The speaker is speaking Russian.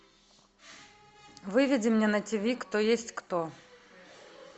выведи мне на ти ви кто есть кто